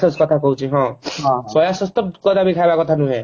କଥା କହୁଛି ହଁ ସୋୟା Sauce ତ କଦାପି ଖାଇବା କଥା ନୁହେଁ